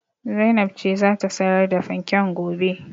Zainab ce za ta sayar da fanken gobe.